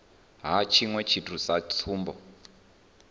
ha tshiṅwe tshithu sa tsumbo